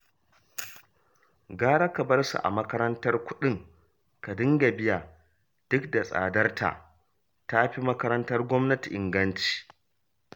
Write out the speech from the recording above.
Gara ka bar su a makarantar kuɗin ka dinga biya duk da tsadarta, ta fi makarantar gwamnati inganci